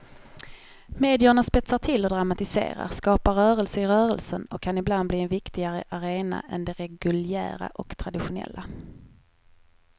Medierna spetsar till och dramatiserar, skapar rörelser i rörelsen och kan ibland bli en viktigare arena än de reguljära och traditionella.